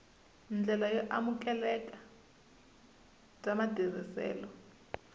ndlela yo amukeleka bya matirhiselo